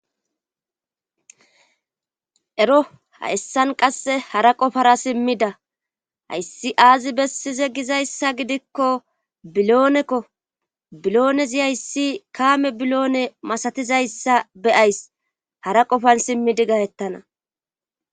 ero hayssan qasse hara qofara simmida hayssi aazi bessize gizayssa gidikko biloonekko biloonezi hayssi kaame biloone masatizayssa beyays hara qofan simmidi gahettana